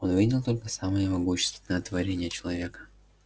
он видел только самое могущественное творение человека